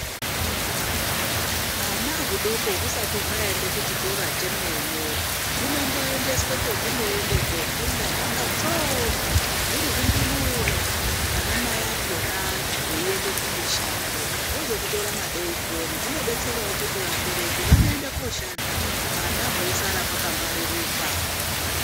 Hwana hudoko husati hwaende kuchikora chemene hunomboendeswe kuchikora kwahunoende kofunda hwakatsonga huri hundumure vanamai vakona veiende kumishando vozomutora madekoni, zvinodetserawo kuti vabereki vanoende koshanda hwana hweisara hwakangwaririka.